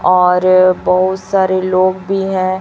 और बहुत सारे लोग भी हैं।